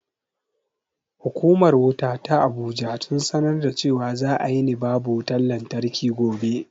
Hukumar wuta ta abuja sun sanar cewa za a yini babu wutan lantarki gobe